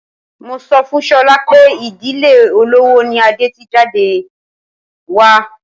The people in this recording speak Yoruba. Mo sọ fún Sola pé ìdílé olówó ni Adé ti jáde wá.